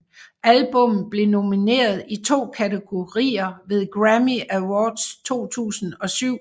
Albummet blev nomineret i to kategorier ved Grammy Awards 2007